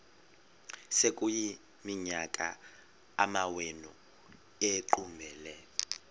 sekuyiminyaka amawenu ekuqumbele